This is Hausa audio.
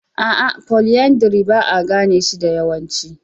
A'a, polyandry ba a gane shi da yawancin.